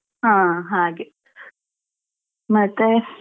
ಹಾ ಹಾಗೆ ಮತ್ತೇ?